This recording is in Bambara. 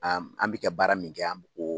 An bɛ kɛ baara min kɛ